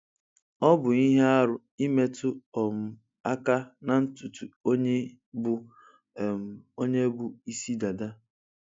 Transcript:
Ọ bụ ihe arụ imetu um aka na ntụtụ onye bụ um bụ um ịsị dada